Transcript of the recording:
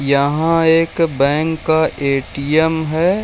यहाँ एक बैंक का ए.टी.एम. है।